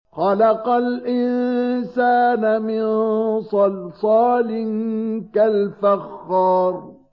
خَلَقَ الْإِنسَانَ مِن صَلْصَالٍ كَالْفَخَّارِ